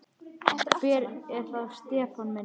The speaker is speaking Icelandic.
Hver er það Stefán minn?